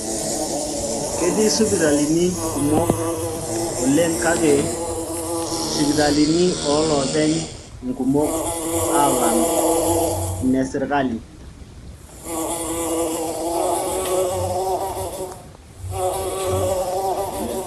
Ketii sipitalini kumok oleng kake ,sipitalini olooopeny inkumok aalang inesirkali